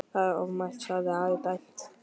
Það er ofmælt, sagði Ari dræmt.